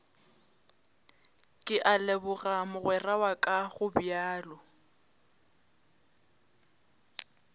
ke a leboga mogweraka gobjalo